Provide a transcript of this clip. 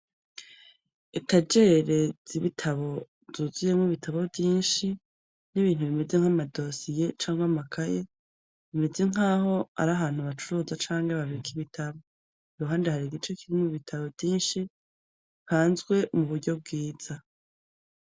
Ekajereza ibitabo zuzuyemwo ibitabo vyinshi n'ibintu bimeze nk'amadosiye cango amakaye, bimeze nk'aho ari ahantu abacuruza canke babika ibitabo yuhande hari igice kirimu bitabo vyinshi banzwe mu buryo bwiza.